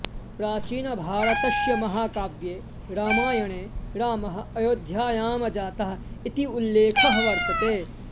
प्राचीनभारतस्य महाकाव्ये रामायणे रामः अयोध्यायां जातः इत्युल्लेखः वर्तते